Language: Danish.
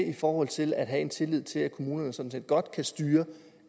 i forhold til at have en tillid til at kommunerne sådan set godt kan styre